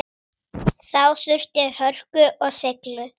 Þá þurfti hörku og seiglu.